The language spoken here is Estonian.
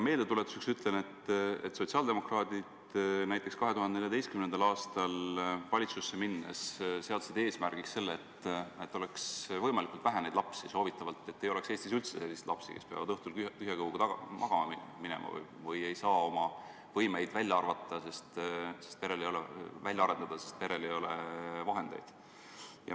Meeldetuletuseks ütlen, et sotsiaaldemokraadid seadsid 2014. aastal valitsusse minnes eesmärgiks selle, et oleks võimalikult vähe neid lapsi, et soovitavalt ei oleks Eestis üldse selliseid lapsi, kes peavad õhtul tühja kõhuga magama minema või ei saa oma võimeid välja arendada, sest perel ei ole vahendeid.